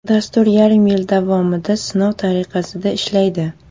Dastur yarim yil davomida sinov tariqasida ishlaydi.